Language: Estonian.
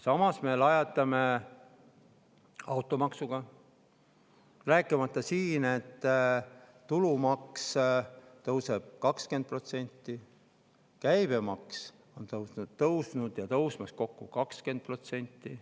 Samas me lajatame automaksuga, rääkimata sellest, et tulumaks tõuseb 20%, käibemaks on tõusnud ja tõusmas kokku 20%.